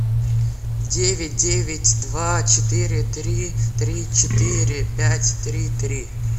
девять девять два четыре три три четыре пять три три